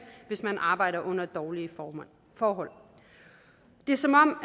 hvis man arbejder under dårlige forhold det er som om